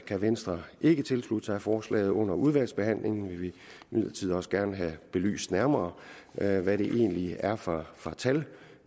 kan venstre ikke tilslutte sig forslaget under udvalgsbehandlingen vil vi imidlertid også gerne have belyst nærmere hvad det egentlig er for tal